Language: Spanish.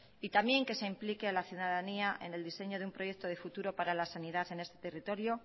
y también que se implique a la ciudadanía en el diseño de un proyecto de futuro para la sanidad en este territorio